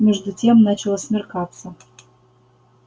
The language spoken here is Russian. между тем начало смеркаться